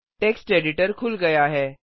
text editor खुल गया है